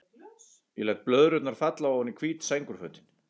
Ég læt blöðrurnar falla oní hvít sængurfötin.